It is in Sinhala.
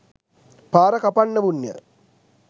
පාර කපන්නවුන් ය.